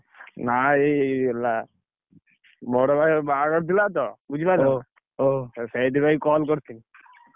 ନା ଏଇ ହେଲା ବଡ ଭାଇର ବାହାଘର ଥିଲା ତ ଓଃ ସେଇଥିପାଇଁ call କରିଛି